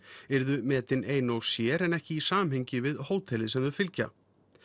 yrðu metin ein og sér en ekki í samhengi við hótelið sem þau fylgja